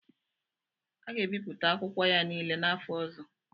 A ga-ebipụta akwụkwọ ya niile n'afọ ọzọ.